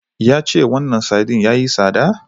Yace wannan sardine yayi tsada?